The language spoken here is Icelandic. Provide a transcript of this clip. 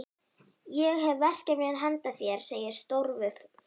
Ég hef verkefni handa þér segir Stórfurstinn.